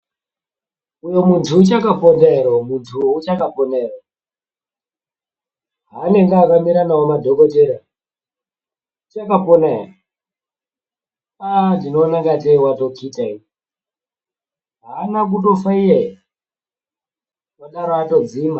Uyo mudzi uchakapona here mudzi uwo uchakapona here. Haanenge akamira nawo madhokoteya uchakapona here. Ah ndinoona ingatei watotsitsa ini. Haana kufa iyeye, uchadaro atodzima.